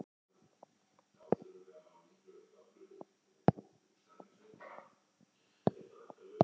Járn í járn